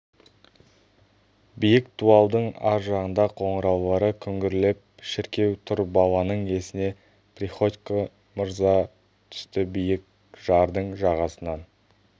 биік дуалдың ар жағында қоңыраулары күңгірлеп шіркеу тұр баланың есіне приходько мырза түсті биік жардың жағасынан